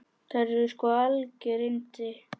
Þær eru sko algjör yndi.